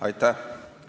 Aitäh!